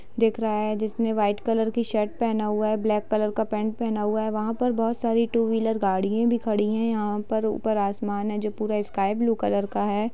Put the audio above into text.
देख रहा है जिसने व्हाइट कलर की शर्ट पहना हुआ हैं ब्लैक कलर का पेंट पहना हुआ हैं वहां पर टू व्हीलर गाडियां भी खड़ी है यहां पर ऊपर आसमान है जो स्काई ब्लू का है।